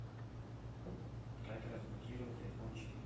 как разблокировать айфон четыре